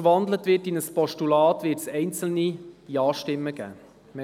Falls in ein Postulat gewandelt wird, wird es einzelne Ja-Stimmen geben.